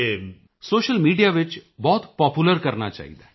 social media ਵਿੱਚ ਬਹੁਤ popular ਕਰਨਾ ਚਾਹੀਦਾ ਹੈ